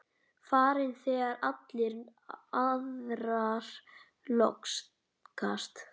Farin þegar allar aðrar lokast.